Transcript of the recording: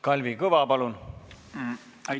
Kalvi Kõva, palun!